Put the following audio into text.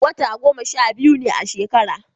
wata goma sha biyu ne a shekara